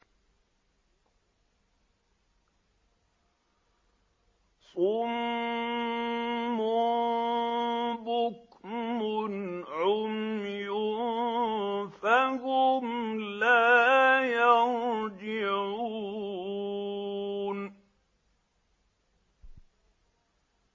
صُمٌّ بُكْمٌ عُمْيٌ فَهُمْ لَا يَرْجِعُونَ